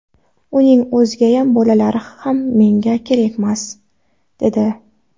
Uning o‘ziyam, bolalari ham menga kerakmas’, dedi.